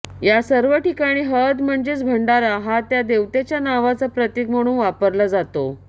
या सर्व ठिकाणी हळद म्हणजेच भंडारा हा त्या देवतेच्या नावाचं प्रतीक म्हणून वापरला जातो